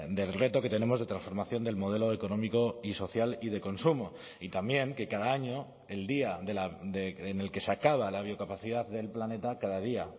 del reto que tenemos de transformación del modelo económico y social y de consumo y también que cada año el día en el que se acaba la biocapacidad del planeta cada día